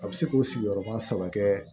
A bɛ se k'o sigiyɔrɔba saba kɛ